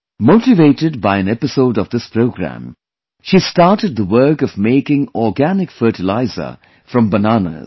Motivated by an episode of this program, she started the work of making organic fertilizer from bananas